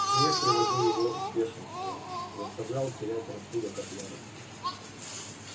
смех приводил его в бешенство заставлял терять рассудок от ярости